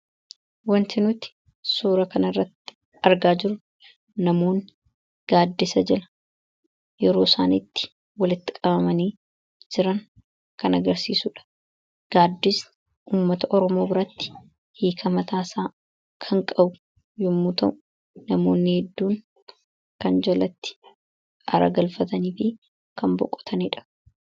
Wanti nuti suura kan irratti argaa jirru namoota gaaddisa jala yeroo isaaniitti walitti qabamanii jiran kan agarsiisuudha. Gaaddisni uummata Oromoo biratti hiika mataasaa kan qabu yommuu ta'u, namoonni hedduun kan jalatti aara galfataniifi kan boqotaniidha.